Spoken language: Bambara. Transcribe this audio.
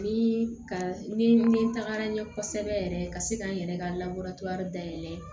Ni ka ni tagara ɲɛ kosɛbɛ yɛrɛ ka se k'an yɛrɛ ka dayɛlɛ